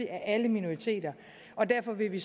af alle minoriteter og derfor vil vi